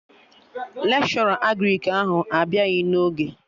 Lekshọra Agrịk ahụ abịaghị n'oge